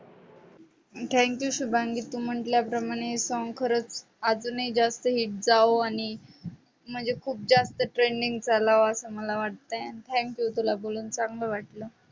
thank you Shubhangi, तू म्हंटल्याप्रमाणे song खरंच अजूनही जास्त hit जावो आणि म्हणजे खूप जास्त trending चालावं असं मला वाटतंय. आणि thank you तुला बोलून चांगलं वाटलं.